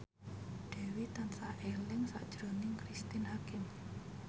Dewi tansah eling sakjroning Cristine Hakim